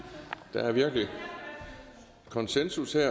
der er virkelig konsensus her